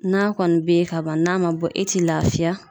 N'a kɔni be yen ka ban, n'a ma bɔ e te lafiya.